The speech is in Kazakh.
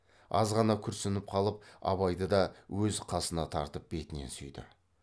азғана күрсініп қалып абайды да өз қасына тартып бетінен сүйді